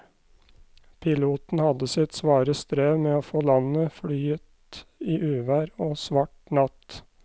Piloten hadde sitt svare strev med å få landet flyet i uvær og svart natt.